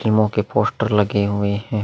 फिल्मों के पोस्टर लगे हुए हैं।